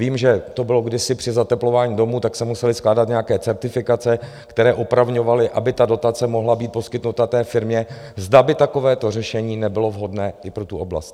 Vím, že to bylo kdysi při zateplování domů, tak se musely skládat nějaké certifikace, které opravňovaly, aby ta dotace mohla být poskytnuta té firmě - zda by takovéto řešení nebylo vhodné i pro tu oblast.